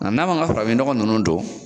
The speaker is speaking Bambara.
A n'an b'an ka farafin ɲɔgɔ nunnu don